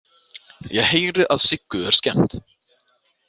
Ég heyri að Siggu er skemmt.